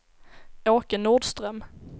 Åke Nordström